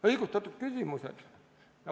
Õigustatud küsimused.